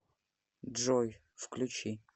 джой включи кирк валум